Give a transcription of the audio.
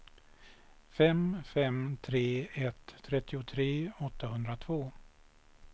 fem fem tre ett trettiotre åttahundratvå